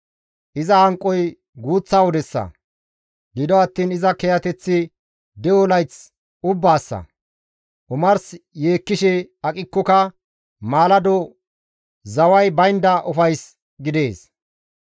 Iza hanqoy guuththa wodessa, gido attiin iza kiyateththi de7o layth ubbaassa; omars yeekkishe aqikkoka maalado zaway baynda ufays gidees.